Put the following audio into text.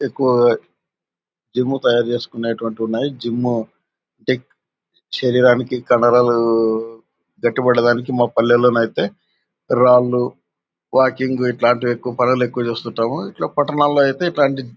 ఎక్కువగా జిమ్ తయారు చేసుకునేటట్టువంటివి ఉన్నాయి. జిమ్ టేక్ శరీరానికి కండరాలు గట్టిపడటానికి మా పల్లెలో అయితే రాళ్ళూ వాకింగ్ ఇట్లాంటి పనులెక్కువ చేస్తుంటాము. ఇట్లా పట్టణాల్లో ఐతే ఇట్లాంటి--